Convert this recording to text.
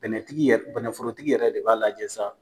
Bɛnɛ tigi yɛrɛ bɛnɛforotigi yɛrɛ de b'a lajɛ sa.